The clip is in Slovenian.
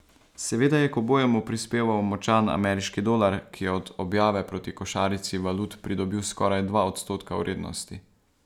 Seveda je k obojemu prispeval močan ameriški dolar, ki je od objave proti košarici valut pridobil skoraj dva odstotka vrednosti.